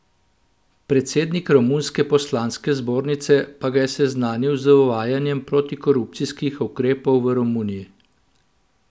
Predsednik romunske poslanske zbornice pa ga je seznanil z uvajanjem protikorupcijskih ukrepov v Romuniji.